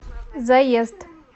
заезд